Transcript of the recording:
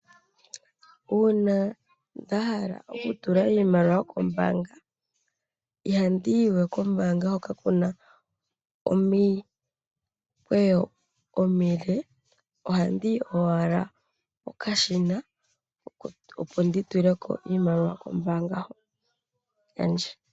Uuna nda hala oku tula iimaliwa kombaanga, ihandi yiwe kombaanga hoka kuna omikweyo omile, ohandi yi owala kokashina, opo ndi tule ko iimaliwa kombaanga hoka yandje.